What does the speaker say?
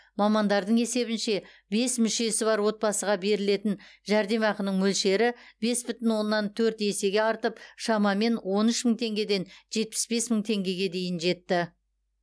мамандардың есебінше бес мүшесі бар отбасыға берілетін жәрдемақының мөлшері бес бүтін оннан төрт есеге артып шамамен он үш мың теңгеден жетпіс бес мың теңгеге дейін жетті